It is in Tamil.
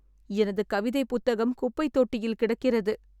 எனது கவிதை புத்தகம் குப்பைத் தொட்டியில் கிடக்கிறது.